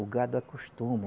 O gado acostuma.